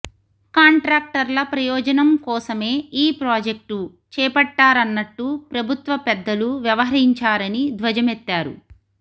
కాంట్రాక్టర్ల ప్రయోజనం కోసమే ఈ ప్రాజెక్టు చేపట్టారన్నట్టు ప్రభుత్వ పెద్దలు వ్యవహరించారని ధ్వజమెత్తారు